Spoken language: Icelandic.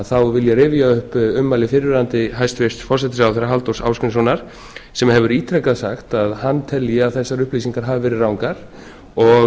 þá vil ég rifja upp ummæli fyrrverandi hæstvirtur forsætisráðherra halldórs ásgrímssonar sem hefur ítrekað sagt að hann telji að þessar upplýsingar hafi verið rangar og